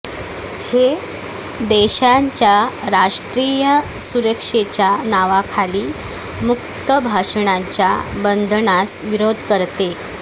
हे देशाच्या राष्ट्रीय सुरक्षेच्या नावाखाली मुक्त भाषणांच्या बंधनास विरोध करते